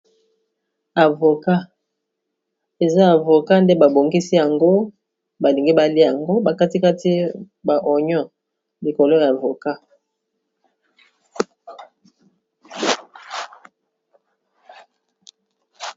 Avoka eza avoka nde babongisi yango balingi baliya yango bakatikati ba onyon likolo ya avoca.